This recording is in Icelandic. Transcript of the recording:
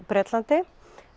Bretlandi